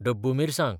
डब्बू मिरसांग